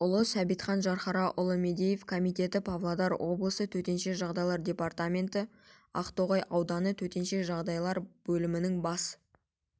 ұлы сәбитхан жанхараұлы мадеев комитеті павлодар облысы төтенше жағдайлар департаменті ақтоғай ауданы төтенше жағдайлар бөлімінің бас